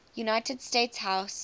united states house